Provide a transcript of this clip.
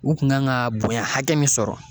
U kun kan ga bonya hakɛ min sɔrɔ